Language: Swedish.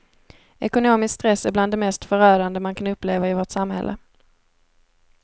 Ekonomisk stress är bland det mest förödande man kan uppleva i vårt samhälle.